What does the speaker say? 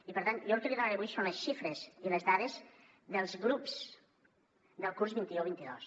i per tant jo el que li donaré avui són les xifres i les dades dels grups del curs vint un vint dos